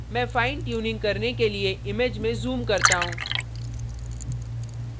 मैं fine tuning करने के लिए image में zoom करता हूँ